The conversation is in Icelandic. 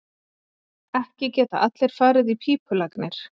Ekki geta allir farið í pípulagnir.